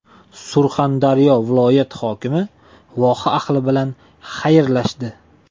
Surxondaryo viloyati hokimi voha ahli bilan xayrlashdi.